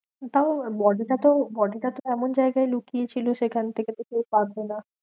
তাও body টাতো body টাতো এমন জায়গায় লুকিয়েছিল, সেখান থেকে তো কেউ পাবে না।